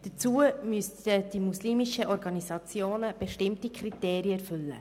Dazu müssten die muslimischen Organisationen bestimmte Kriterien erfüllen.